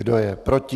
Kdo je proti?